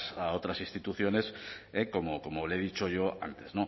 a otras instituciones como le he dicho yo antes